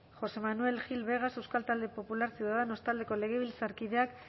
josé manuel gil vegas euskal talde popularra ciudadanos taldeko legebiltzarkideak